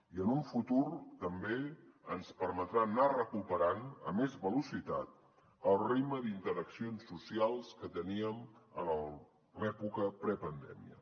i en un futur també ens permetrà anar recuperant a més velocitat el ritme d’interaccions socials que teníem a l’època prepandèmia